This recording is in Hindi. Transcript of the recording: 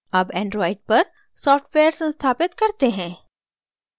अब android पर सॉफ्टवेयर संस्थापित करते हैं